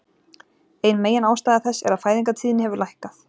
Ein meginástæða þess er að fæðingartíðni hefur lækkað.